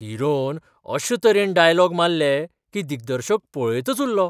Heron अशे तरेन dialogue मारले की दिग्दर्शक पळयतच उरलो.